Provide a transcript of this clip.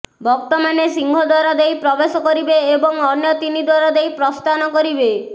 ଭକ୍ତମାନେ ସିଂହଦ୍ୱାର ଦେଇ ପ୍ରବେଶ କରିବେ ଏବଂ ଅନ୍ୟ ତିନି ଦ୍ୱାର ଦେଇ ପ୍ରସ୍ଥାନ କରିବେ